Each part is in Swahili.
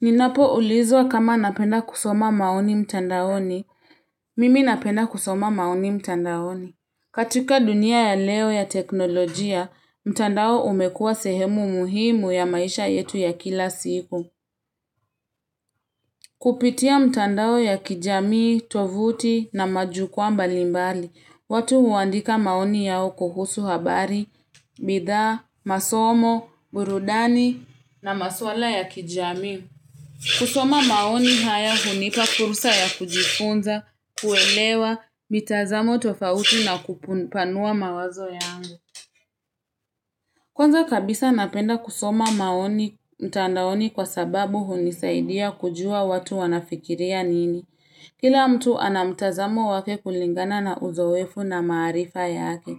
Ninapo ulizwa kama napenda kusoma maoni mtandaoni, mimi napenda kusoma maoni mtandaoni. Katika dunia ya leo ya teknolojia, mtandao umekua sehemu muhimu ya maisha yetu ya kila siku. Kupitia mtandao ya kijamii, tovuti na majukwaa mbalimbali, watu huandika maoni yao kuhusu habari, bidhaa, masomo, burudani na maswala ya kijamii. Kusoma maoni haya hunipa fursa ya kujifunza, kuelewa, mitazamo tofauti na kupanua mawazo yangu. Kwanza kabisa napenda kusoma maoni mtandaoni kwa sababu hunisaidia kujua watu wanafikiria nini. Kila mtu anamtazamo wake kulingana na uzoefu na maarifa yake.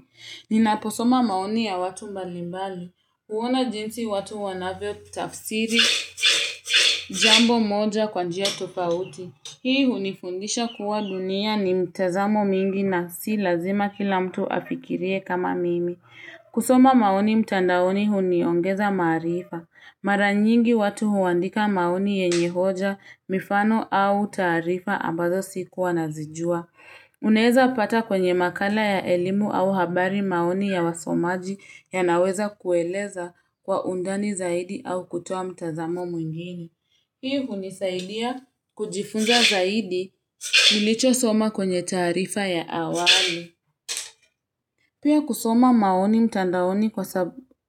Ninaposoma maoni ya watu mbalimbali, huona jinsi watu wanavyo tafsiri, jambo moja kwanjia tofauti. Hii hunifundisha kuwa dunia ni mitazamo mingi na si lazima kila mtu afikirie kama mimi. Kusoma maoni mtandaoni huniongeza maarifa. Mara nyingi watu huandika maoni yenye hoja, mifano au taarifa ambazo sikuwa na zijua. Unaeza pata kwenye makala ya elimu au habari maoni ya wasomaji ya naweza kueleza kwa undani zaidi au kutoa mtazamo mwingine Hii hunisaidia kujifunza zaidi nilicho soma kwenye taarifa ya awali. Pia kusoma maoni mtandaoni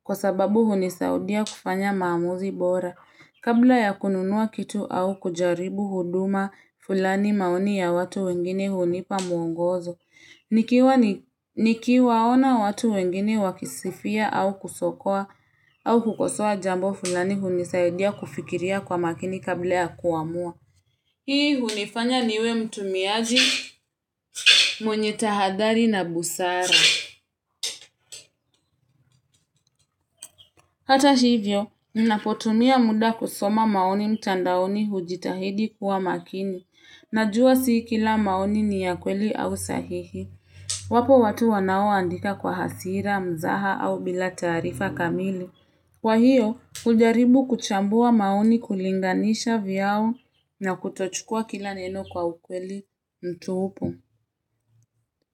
kwa sababu hunisaidia kufanya maamuzi bora. Kabla ya kununua kitu au kujaribu huduma fulani maoni ya watu wengine hunipa muongozo. Nikiwa ona watu wengine wakisifia au kusokoa au kukosoa jambo fulani hunisaidia kufikiria kwa makini kabla ya kuamua. Hii hunifanya niwe mtumiaji mwenye tahathari na busara. Hata hivyo, ninapotumia muda kusoma maoni mtandaoni hujitahidi kuwa makini. Najua si kila maoni ni ya kweli au sahihi. Wapo watu wanao andika kwa hasira, mzaha au bila taarifa kamili. Kwa hiyo, hujaribu kuchambua maoni kulinganisha vyao na kutochukua kila neno kwa ukweli mtupu.